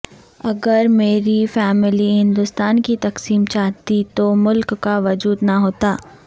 اگر میری فیملی ہندوستان کی تقسیم چاہتی تو ملک کا وجود نہ ہوتا